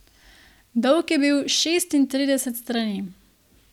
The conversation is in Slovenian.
Dolg je bil šestintrideset strani.